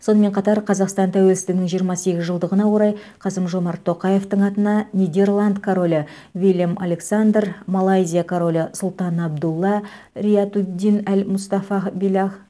сонымен қатар қазақстан тәуелсіздігінің жиырма сегіз жылдығына орай қасым жомарт тоқаевтың атына нидерланд королі виллем александр малайзия королі сұлтан абдулла риятуддин әл мұстафағ биллах